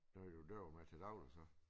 Det har du jo at gøre med til dagligt så